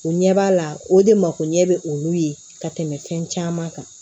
O ɲɛ b'a la o de makoɲɛ bɛ olu ye ka tɛmɛ fɛn caman kan